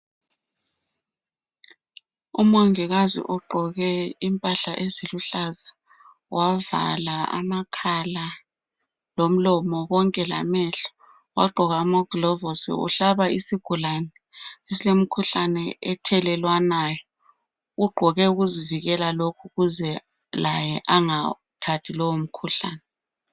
Umongikazi ugqoke impahla eziluhlaza wavala amakhala lomlomo konke lamehlo, wagqoka amaglovos. Uhlaba isigulani esilemkhuhlane ethelelwanayo. Ugqoko ukuzivikela lokhu ukuze laye angawuthathi lowo mkhuhlane